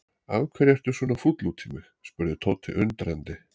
Af hverju ertu svona fúll út í mig? spurði Tóti undrandi.